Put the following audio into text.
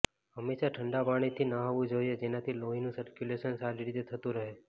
હંમેશા ઠંડા પાણીથી નહાવું જોઈએ જેનાથી લોહીનું સર્ક્યુલેશન સારી રીતે થતું રહે